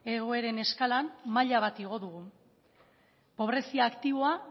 egoeren eskalan maila bat igo dugu pobrezia aktiboa